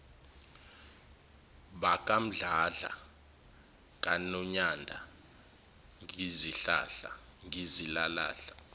bakamdladla kanonyanda ngizilahla